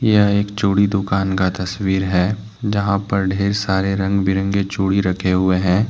यह एक चूड़ी दुकान का तस्वीर है जहां पर ढेर सारे रंग बिरंगे चूड़ी रखें हुये है।